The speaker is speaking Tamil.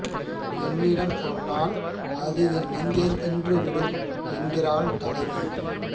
என்னிடம் சொன்னால் அது என் நெஞ்சைத் தின்றுவிடும் என்கிறாள் தலைவி